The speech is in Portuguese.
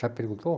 Já perguntou?